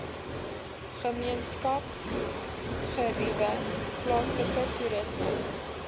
gemeenskapsgeriewe plaaslike toerisme